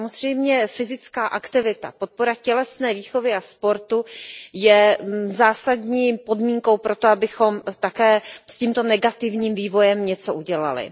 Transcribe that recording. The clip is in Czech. Samozřejmě fyzická aktivita, podpora tělesné výchovy a sportu jsou zásadní podmínkou pro to, abychom také s tímto negativním vývojem něco udělali.